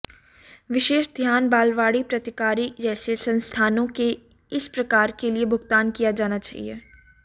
विशेष ध्यान बालवाड़ी प्रतिकारी जैसे संस्थानों के इस प्रकार के लिए भुगतान किया जाना चाहिए